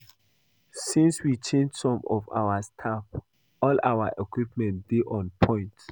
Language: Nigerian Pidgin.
Since we change some of our staff all our equipment dey on point